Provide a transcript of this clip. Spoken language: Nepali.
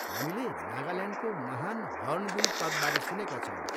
हामीले नागाल्यान्डको महान हर्नबिल पर्वबारे सुनेका छौँ।